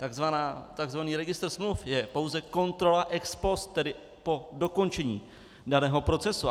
Takzvaný registr smluv je pouze kontrola ex post, tedy po dokončení daného procesu.